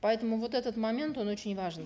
поэтому вот этот момент он очень важен